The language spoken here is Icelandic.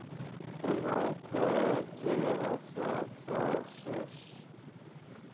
Hún ákvað að gefa það frá sér.